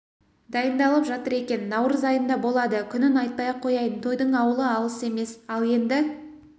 дайындалып жатыр екен наурыз айында болады күнін айтпай-ақ қояйын тойдың ауылы алыс емес ал енді